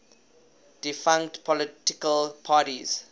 defunct political parties